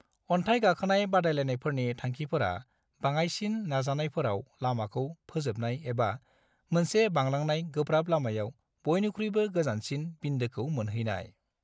अन्थाइ गाखोनाय बादायलायनायफोरनि थांखिफोरा बाङायसिन नाजानायफोराव लामाखौ फोजोबनाय एबा मोनसे बांलांनाय गोब्राब लामायाव बयनिख्रुयबो गोजानसिन बिन्दोखौ मोनहैनाय।